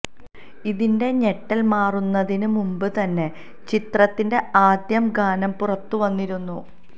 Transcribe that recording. ഇതിന്റെ ഞെട്ടൽ മാറുന്നതിന് മുൻപ് തന്നെ ചിത്രത്തിന്റെ ആദ്യം ഗാനം പുറത്തു വന്നിരുന്നു